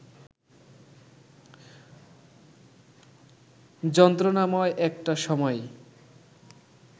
যন্ত্রণাময় একটা সময়ই